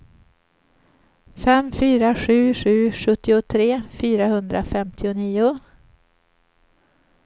fem fyra sju sju sjuttiotre fyrahundrafemtionio